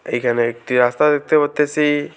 এখানে একটি রাস্তা দেখতে পারতেসি।